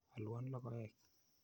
Alwon logoek.